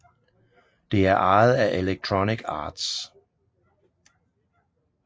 Det er ejet af Electronic Arts